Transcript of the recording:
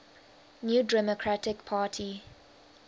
new democratic party